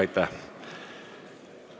Aitäh!